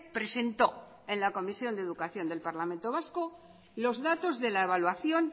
presentó en la comisión de educación del parlamento vasco los datos de la evaluación